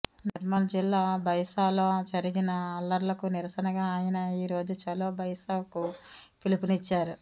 నిర్మల్ జిల్లా భైంసాలో జరిగిన అల్లర్లకు నిరసనగా ఆయన ఈ రోజు ఛలో భైంసాకు పిలుపునిచ్చారు